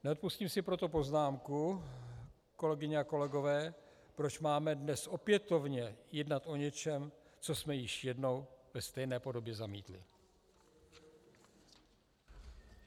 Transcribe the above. Neodpustím si proto poznámku, kolegyně a kolegové, proč máme dnes opětovně jednat o něčem, co jsme již jednou ve stejné podobě zamítli.